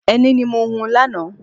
Ẹni ní mo hun lánàá.